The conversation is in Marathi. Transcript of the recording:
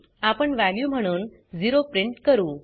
आपण वॅल्यू म्हणून 0 प्रिंट करू